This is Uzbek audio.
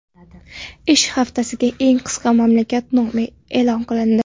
Ish haftasi eng qisqa mamlakat nomi e’lon qilindi.